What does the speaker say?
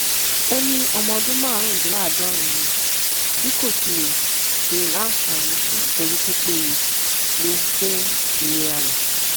ó ní ọmọ ọdún márùndínláàádọrin ni bí kò sì ṣe láǹfààní sí ìtọjú tó péye léwu fún ìlera rẹ